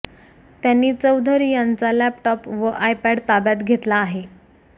त्यांनी चौधरी यांचा लॅपटॉप व आयपॅड ताब्यात घेतला आहे